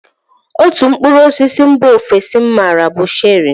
Otú mkpụrụ osisi mba ofesi m maara bụ cherị.